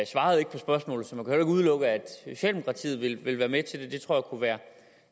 svarede ikke på spørgsmålet så man kan udelukke at socialdemokratiet vil være med til det jeg tror det kunne være